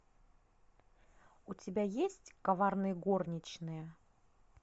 у тебя есть коварные горничные